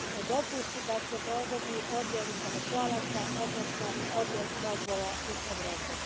ne dopusti da se dogodi odljev intelektualaca odnosno odljev mozgova iz Evrope.